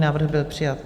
Návrh byl přijat.